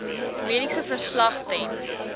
mediese verslag ten